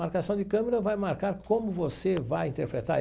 Marcação de câmera vai marcar como você vai interpretar.